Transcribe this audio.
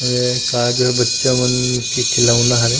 अउ ए का जो बच्चा मन के खिलौना हरे--